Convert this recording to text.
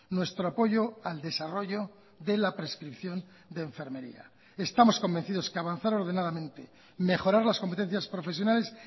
nuestro apoyo al desarrollo de la prescripción de enfermería estamos convencidos que avanzar ordenadamente mejorar las competencias profesionales